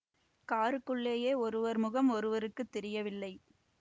காருக்குள்ளேயே ஒருவர் முகம் ஒருவருக்கு தெரியவில்லை